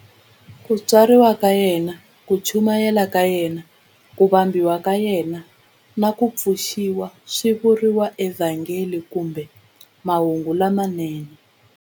Ku tswariwa ka yena, ku chumayela ka yena, ku vambiwa ka yena, na ku pfuxiwa swi vuriwa eVhangeli kumbe Mahungu lamanene.